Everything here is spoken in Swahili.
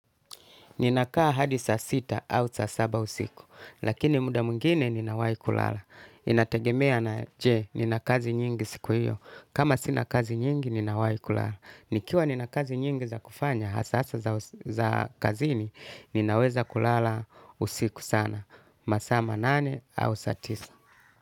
Ninakaa hadi saa sita au saa saba usiku, lakini muda mwingine ninawahi kulala. Inategemea na je, nina kazi nyingi siku hiyo. Kama sina kazi nyingi, ninawahi kulala. Nikiwa nina kazi nyingi za kufanya, hasa za kazini, ninaweza kulala usiku sana. Masaa manane au saa tisa.